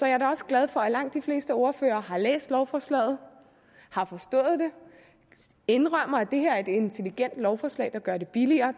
er da også glad for at langt de fleste ordførere har læst lovforslaget har forstået det og indrømmer at det her er et intelligent lovforslag der gør det billigere